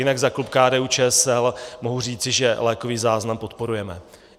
Jinak za klub KDU-ČSL mohu říci, že lékový záznam podporujeme.